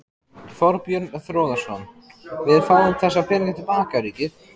Þorbjörn Þórðarson: Við fáum þessa peninga til baka, ríkið?